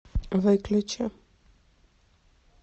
выключи